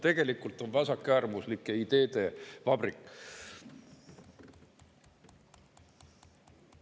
Tegelikult on see vasakäärmuslike ideede vabrik.